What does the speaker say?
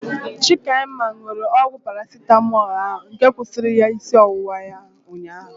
Chikaima nụrụ ọgwụ Parasitamọlu ahu nke kwụsịrị isi ọwụwa ya ụnyaahụ